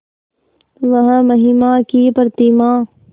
वह महिमा की प्रतिमा